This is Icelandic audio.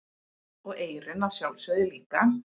Og eyrun að sjálfsögðu líka.